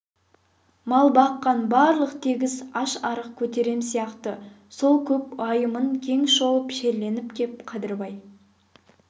мал баққан барлық тегіс аш-арық көтерем сияқты сол көп уайымын кең шолып шерленіп кеп қадырбай